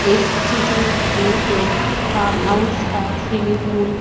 इस चित्र में एक फार्म हाउस का स्विमिंग पूल --